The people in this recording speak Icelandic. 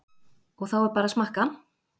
Og þá er bara að smakka?